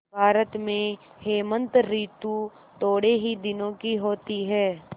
भारत में हेमंत ॠतु थोड़े ही दिनों की होती है